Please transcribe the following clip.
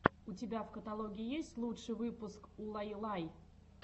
у тебя в каталоге есть лучший выпуск улайлай